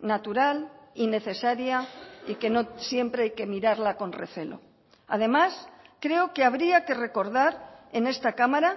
natural y necesaria y que no siempre hay que mirarla con recelo además creo que habría que recordar en esta cámara